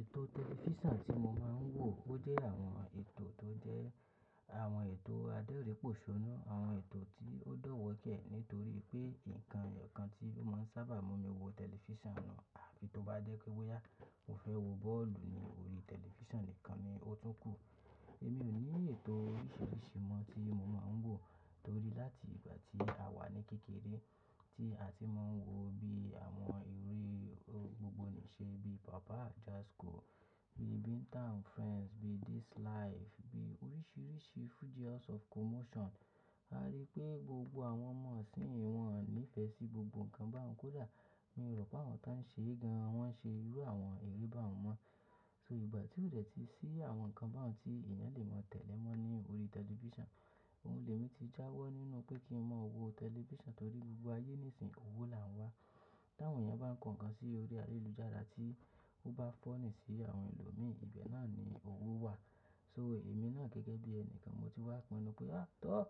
Ètò tẹlifísàn tí mo máa ń wò ó jẹ́ àwọn ètò tó jẹ́ àwọn ètò adẹrin pòṣónu, àwọn ètò tí ó dọ̀wọ̀kẹ́ nítorí pé nǹkan ìyọkàn tí ó máa ń sábà mú mi wò tẹlifísàn nu un. Àfí tó bá jẹ́ pé bóyá mo fẹ́ wò bọ́ọ̀lù ní orí tẹlifísàn nìkan ni ó tún kù. Èmi ò ní oríṣiríṣi mọ tí mo máa ń wò torí láti tí a wa ní kékeré tí a ti máa ń wò bí àwọn eré gbogbo nise bí papa ajasco, bí binta and friends, bí this life, bí oríṣiríṣi fuji house of commotion. A rí pé gbogbo àwọn ọmọ isiń wọ́n níìfẹ́ sí gbogbo ǹkan báhun kó dà. Mi rò pé àwọn tí wọ́n ń ṣe gan an wọ́n ṣe irú àwọn eré bahun mọ́. So ìgbà tí ó dẹ̀ tí sí àwọn nǹkan bahun tí eeyan le máa tẹ̀lẹ̀ mọ́ ní orí tẹlifísàn, oun lè mi ti jáwọ́ nínú pé kí ń mọ wò tẹlifísàn torí gbogbo ayé nísinsìn owó là ń wá. Tí àwọn èèyàn bá ń kọ ǹkan sí orí ayélujára tí ó bá funny sí àwọn ẹlòmíi, ibẹ̀ náà ni owó wà. So èmi náà gẹ́gẹ́ bí ẹnikan mo ti wá pinu pé a tọ́,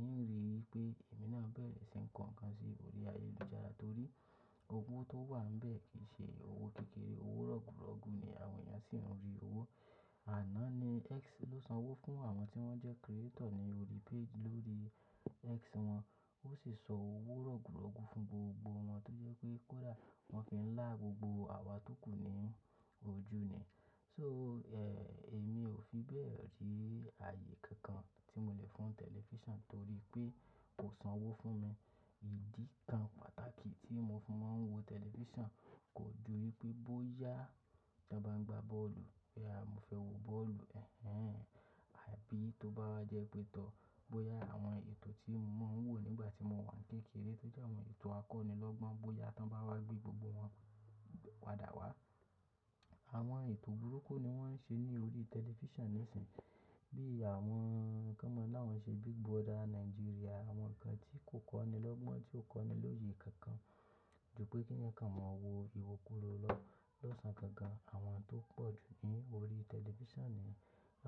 n rí i pé èmi náà bẹ̀rẹ̀ sí ń kọ nǹkan sí orí ayélujára torí owó tó wà n bẹ́ẹ̀ kì í ṣe owó kékeré, owó rọgurọgu ni àwọn èèyàn sì ń rí owó. Àná ni X ló san owó fún àwọn tí wọ́n jẹ́ creator ní orí page lórí X wọn. Ó sì san owó rọgurọgu fún gbogbo wọn tó jẹ́ pé kó dà wọ́n fi ń lá gbogbo àwa tókù ní ojú ni. So, ẹ́, èmi ò fi bẹ́ẹ̀ rí ààyè kankan tí mo lè fún tẹlifísàn torí pé kò san owó fún mi. Ìdí kan pàtàkì tí mo fi máa ń wò tẹlifísàn kò ju wípé bóyá tí a bá ń gba bọ́ọ̀lù, ẹ à, mo fẹ́ wò bọ́ọ̀lù, ẹ́hẹ́n. Àbí tó bá wá jẹ́ pé tọ bóyá àwọn ètò tí mo máa ń wò nígbà tí mo wà ní kékeré tó jẹ́ àwọn ètò akọ́nilọ́gbọ́n bóyá tán bá wá gbé gbogbo wọn wádà wá. Àwọn ètò burúkú ni wọ́n ń ṣe ní orí tẹlifísàn nísin bí i àwọn kan mọ́ láwọn ṣe Big Brother Naijiria àwọn nǹkan tí kò kọ́nilọ́gbọ́n tí ò kọ́ni looye kankan ju pé kí ǹkan mọ wò ìwo kúrò lọ lọ́sàn-án gan gan àwọn tó pọ̀ jù ní orí tẹlifísàn ni.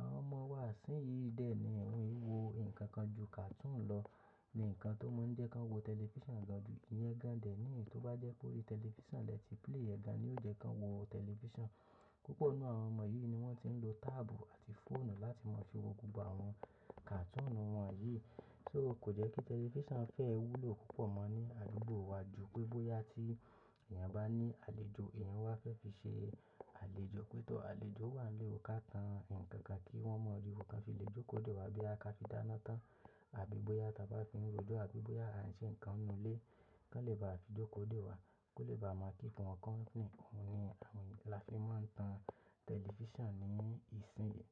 Àwọn ọmọ wa isin dẹ ni won i wo nnkankan ju cartoon lọ ni nǹkan tó maa ń jẹ kan wò tẹlifíṣàn gan ju, iyẹn gan dẹ ní i tó bá jẹ pé orí tẹlifísàn lẹ ti play ẹ gan ni ó jẹ kan wò tẹlifíṣàn. Púpọ̀ nínú àwọn ọmọ yìí ni wọ́n ti ń lo táàbù àti fóònù láti máa fi wò gbogbo àwọn cartoon wọn yìí. So kò jẹ́ kí tẹlifísàn fẹ́ wúlò púpọ̀ mọ́ ní àdúgbò wa ju pé bóyá tí èèyàn bá ní àlejò èèyàn wá fẹ́ fi ṣe àlejò pé tọ̀. Àlejò wà nílé ò ká tán nǹkan kan kí wọ́n mọ ri wo kan fi le jókòó dè wá bí a ká fi dáná tán àbí bóyá táa bá fi ń rojó àbí bóyá à ń ṣe ǹkan nínú ilé kí wọ́n lè bá a fi jókòó dè wá kó lè bá a mọ kí nǹkan kan ni. Òun ni àwọn èèyàn-- là fi máa ń tan tẹlifísàn ní ìsìn yìí.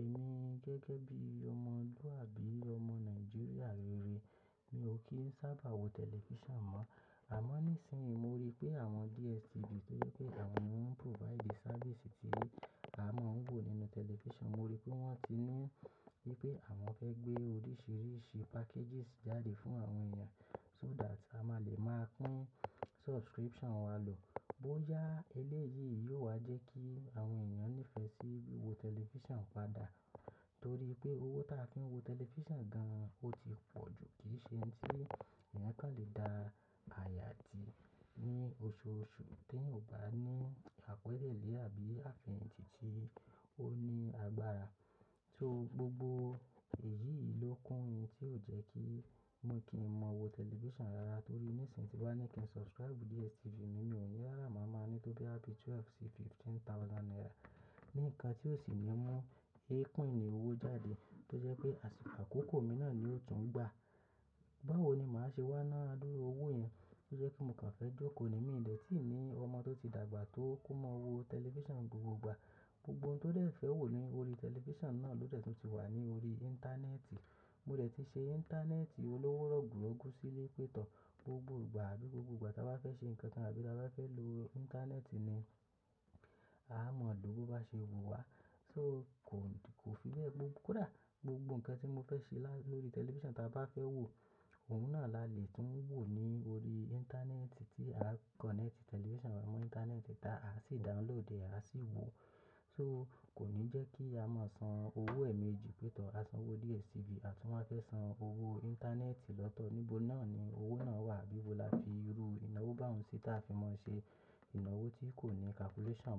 Èmi gẹ́gẹ́ bí ọmọlúàbí ọmọ Nàìjíríà rere mi ò kí ń sábà wò tẹlifísàn mọ́. Àmọ́ nísinsìnyí mo rí pé àwọn DSTV tó jẹ́ pé àwọn ni wọ́n ń provide service tí à á mọ̀ ń wò nínú tẹlifísàn mo rí pé wọ́n ti ní wípé àwọn fẹ́ gbé oríṣiríṣi packages jáde fún àwọn èèyàn so that a máa lè máa pín subscription wa lò. Bóyá eléyìí yóò wá jẹ́ kí àwọn èèyàn nífẹ̀ẹ́ sí wiwò tẹlifísàn padà torí pé owó táa fi ń wò tẹlifísàn gan-an ó ti pọ̀ ju kì í ṣe ohun tí èèyàn kan lè da àyà de ní oṣooṣù tí eyan ò bá ní àgbokanlé àbí àfeyàn tì tì ó ní agbára. Gbogbo èyí ló kún ntí ó jẹ́ kì n mọ wò tẹlifísàn rárá torí nísinsìnyí bi mo bá ní kí n subscribe DSTV mi ò ní yára máa máa ní tó bí àbí twelve sí fifteen thousand naira. Ni ǹkan tí ko sì ní mú epini owó jáde. Tó jepe àkókò mi náà ni yio tún gbà. Báwo ni màá ṣe wá ná adúru owó yẹn tó jẹ́ pe mo kàn fẹ́ jókòó ni mí dẹ̀ tíì ní ọmọ tó ti dàgbà tó kó mọ wò tẹlifísàn ni gbogbogbà. Gbogbo ohun tó dẹ̀ fẹ́ wò ní orí tẹlifísàn náà ló dẹ̀ tún ti wà ní orí íńtánẹ́ẹ̀tì. Mo dẹ̀ ti ṣe íńtánẹ́ẹ̀tì olówó rọ̀gùrọ̀gù sílé. Pé tọ̀ gbogbo ìgbà àbí gbogbo ìgbà táa bá fẹ́ ṣe ǹkan kan àbí táa bá fẹ́ lo íńtánẹ́ẹ̀tì ni a mọ̀ ló bó bá ṣe wò wá. So kò, kò fi bẹ́ẹ̀ gbó kó dà gbogbo ǹkan tí mo fẹ́ ṣe lórí tẹlifísàn táa bá fẹ́ wò òun náà là lè tún wò ní orí íńtánẹ́ẹ̀tì tí a kọ̀nẹ́ẹ̀tì tẹlifísàn wa mọ́ íńtánẹ́ẹ̀tì táa a sì download ẹ a sì wò. So kò ní jẹ́ kí a máa san owó ẹ̀ẹ̀mejì pétọ̀, a san owó DSTV a tún máa fẹ́ san owó íńtánẹ́ẹ̀tì lọ́tọ̀. Níbo náà ni owó náà wà bí i bo là fi ru ìnáwó bá òun sí táa fi máa ṣe ìnáwó tí kò ní calculation.